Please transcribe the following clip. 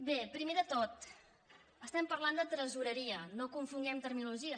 bé primer de tot estem parlant de tresoreria no confonguem terminologia